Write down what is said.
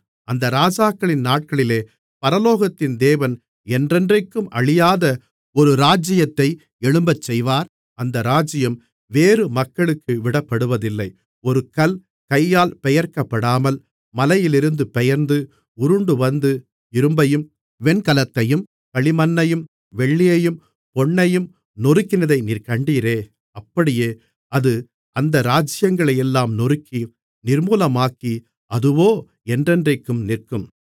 அந்த ராஜாக்களின் நாட்களிலே பரலோகத்தின் தேவன் என்றென்றைக்கும் அழியாத ஒரு ராஜ்ஜியத்தை எழும்பச்செய்வார் அந்த ராஜ்ஜியம் வேறு மக்களுக்கு விடப்படுவதில்லை ஒரு கல் கையால் பெயர்க்கப்படாமல் மலையிலிருந்து பெயர்ந்து உருண்டுவந்து இரும்பையும் வெண்கலத்தையும் களிமண்ணையும் வெள்ளியையும் பொன்னையும் நொறுக்கினதை நீர் கண்டீரே அப்படியே அது அந்த ராஜ்ஜியங்களையெல்லாம் நொறுக்கி நிர்மூலமாக்கி அதுவோ என்றென்றைக்கும் நிற்கும்